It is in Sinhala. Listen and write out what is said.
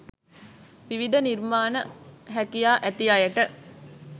විවිධ නිර්මාණ හැකියා ඇති අයට